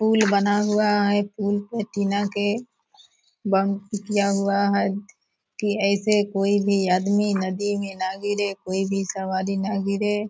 Pool बना हुआ है। पूल पे टीना के बंद किया हुआ है की ऐसे कोई भी आदमी नदी में न गिरे कोई भी सवारी न गिरे।